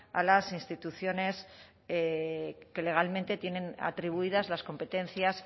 a las instituciones que legalmente tienen atribuidas las competencias